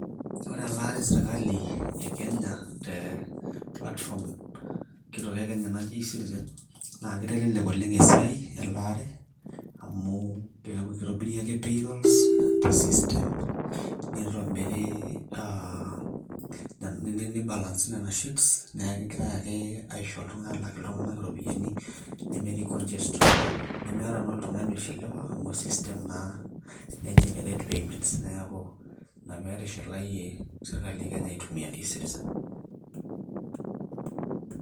Ore elaare e sirkali e Kenya te platform kitok e Kenya naji e-citizen. Naa kitelelek oleng' elaare amu keaku kitobiri ake payroll te system nitobiri aa nibalansi nena sheets. Niaku kegirai ake aisho iltung`anak aalak iltung`anak irropiyiani nemetii congestion. Nemeeta naa oltung`ani oishiliwa amu e system naa na generate payments. Niaku ina pee etishilayie sirkali e Kenya aitumia e-citizen.